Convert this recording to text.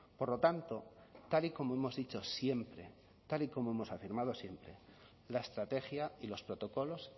por lo tanto tal y como hemos dicho siempre tal y como hemos afirmado siempre la estrategia y los protocolos